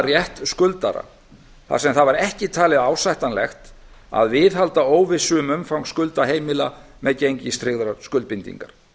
rétt skuldara þar sem það var ekki talið ásættanlegt að viðhalda óvissu um umfang skulda heimila með gengistryggðar skuldbindingar